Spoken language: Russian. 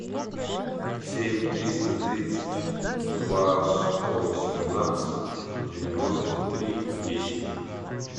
семь триста тридцать два сто восемнадцать девяносто три десять